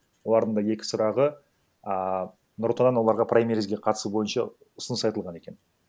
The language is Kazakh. олардың да екі сұрағы а нұр отан оларға праймеризге қатысу бойынша ұсыныс айтылған екен